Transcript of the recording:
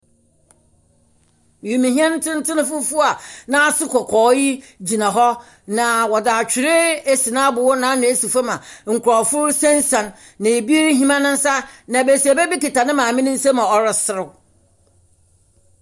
Wimuhyɛn tsentsen fufuw a n'aso kɔkɔɔ yi gyinahɔ, na wɔde atwer esi n'abow n'ano esi fam a nkorɔfo resiansian, na ebi rehim ne nsa. Na besiaba bi kita ne maame ne nsamu a ɔreserew.